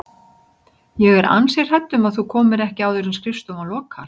Ég er ansi hrædd um að þú komir ekki áður en skrifstofan lokar